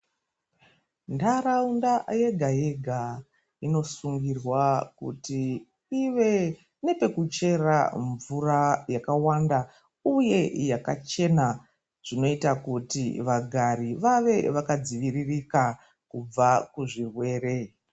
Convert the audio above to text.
Ntaraunda yega yega inosungirwa kuti ive nepekuchera mvura yakawanda uyeyakachena zvinoita kuti vagari vave vakadziviririka kubva kuzvirwere.